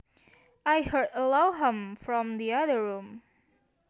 I heard a low hum from the other room